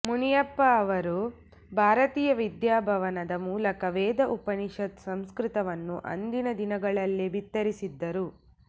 ಮುನ್ಷಿಯವರು ಭಾರತೀಯ ವಿದ್ಯಾಭವನದ ಮೂಲಕ ವೇದ ಉಪನಿಷತ್ ಸಂಸ್ಕ್ಕತವನ್ನು ಅಂದಿನ ದಿನಗಳ್ಲಲೇ ಬಿತ್ತರಿಸಿದ್ದರು